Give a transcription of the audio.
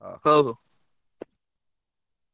ହଉ, ହଉ।